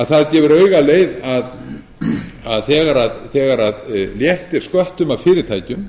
það gefur auga leið að þegar léttir sköttum af fyrirtækjum